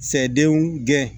Sɛdenw gɛn